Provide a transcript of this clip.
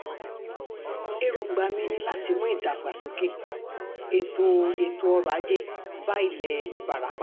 èròǹgbà mi ni láti mú um ìdàgbàsókè ètò ètò ọrọ̀ ajé um bá ilẹ̀ ìbarapá